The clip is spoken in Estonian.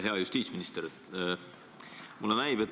Hea justiitsminister!